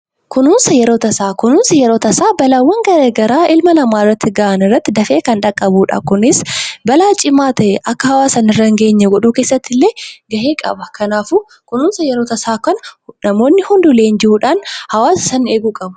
Kunuunsi balaa tasaa rakkoo ilma namaarratti gahan dafee kan dhaqqabuudha. Kunis balaa cimaa ta'e akka hawaasa irraa akka hin geenye gochuu keessattillee gahee guddaa qaba. Kanaaf kunuunsa yeroo tasaa namoonni hundi leenji'uudhaan hawwaasa sana eeguu qabu.